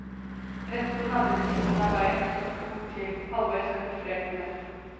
Rett på den andre siden av veien står to til, halvveis kamuflert med nett.